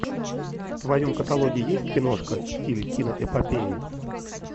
в твоем каталоге есть киношка в стиле киноэпопеи